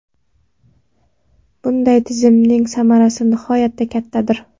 Bunday tizimning samarasi nihoyatda kattadir.